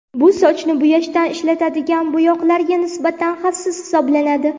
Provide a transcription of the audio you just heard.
Bu sochni bo‘yashda ishlatiladigan bo‘yoqlarga nisbatan xavfsiz hisoblanadi.